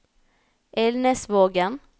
Elnesvågen